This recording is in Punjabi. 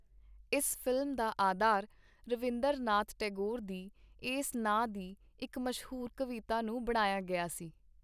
ਇਸ ਫ਼ਿਲਮ ਦਾ ਆਧਾਰ ਰਵੀੰਂਦਰ ਨਾਥ ਟੈਗੋਰ ਦੀ ਏਸ ਨਾਂ ਦੀ ਇਕ ਮਸ਼ਹੂਰ ਕਵਿਤਾ ਨੂੰ ਬਣਾਇਆ ਗਿਆ ਸੀ.